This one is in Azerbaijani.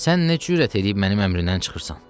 Sən nə cürət eləyib mənim əmrimdən çıxırsan?